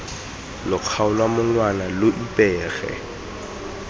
lo kgaola monwana lo ipege